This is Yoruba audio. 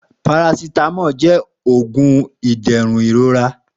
Paracetamol jẹ oogun iderun irora.